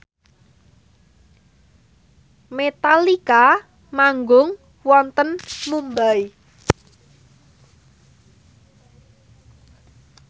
Metallica manggung wonten Mumbai